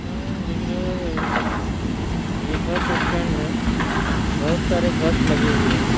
हम्म लग रहा है ये बस स्‍टेण्‍ड है बोहोत सारे बस लगे हुए हैं।